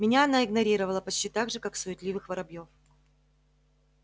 меня она игнорировала почти так же как суетливых воробьёв